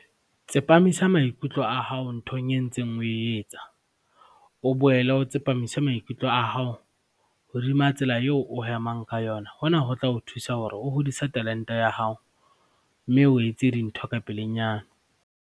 Tsepamisa maikutlo a hao nthong e ntseng o e etsa. O boele o tsepamise maikutlo a hao hodima tsela eo o hemang ka yona, hona ho tla o thusa hore o hodise talente ya hao, mme o etse dintho ka pelenyana.